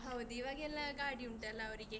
ಹೌದು ಇವಾಗೆಲ್ಲ ಗಾಡಿ ಉಂಟಲ್ಲ ಅವರಿಗೆ.